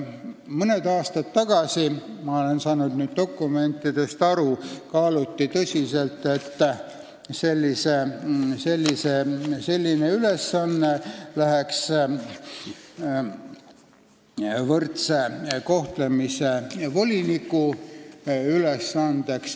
Mõned aastad tagasi – ma olen saanud dokumentidest nii aru – kaaluti tõsiselt, et see võiks olla võrdse kohtlemise voliniku ülesanne.